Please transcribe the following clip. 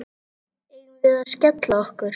Eigum við að skella okkur?